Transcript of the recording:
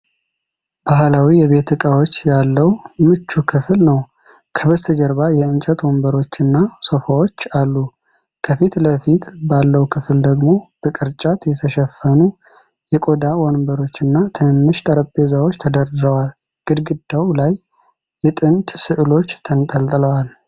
ባህላዊ የቤት ዕቃዎች ያለው ምቹ ክፍል ነው። ከበስተጀርባ የእንጨት ወንበሮች እና ሶፋዎች አሉ። ከፊት ለፊት ባለው ክፍል ደግሞ በቅርጫት የተሸፈኑ የቆዳ ወንበሮችና ትንንሽ ጠረጴዛዎች ተደርድረዋል። ግድግዳው ላይ የጥንት ሥዕሎች ተንጠልጥለዋል።